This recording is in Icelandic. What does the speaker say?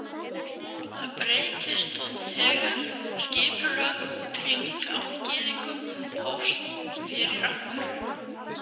Það breyttist þó þegar skipulögð útrýming á gyðingum hófst fyrir alvöru.